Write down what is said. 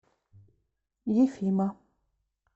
ефима